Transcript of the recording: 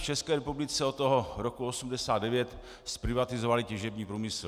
V České republice jsme od roku 1989 zprivatizovali těžební průmysl.